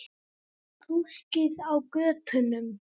Fólkið á götunum.